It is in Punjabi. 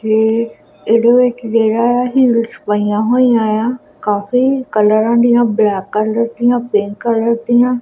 ਇਧੇ ਵਿਚ ਜੇੜਾ ਹੈ ਹੀਲਸ ਪਈਆਂ ਹੋਈਆਂ ਆ ਕਾਫੀ ਕਲਰ ਦੀਆਂ ਬਲੈਕ ਕਲਰ ਦੀਆਂ ਪਿੰਕ ਕਲਰ ਦੀਆਂ--